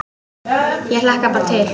Ég hlakka bara til!